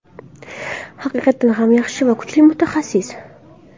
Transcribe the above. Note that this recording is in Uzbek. Haqiqatan ham yaxshi va kuchli mutaxassis.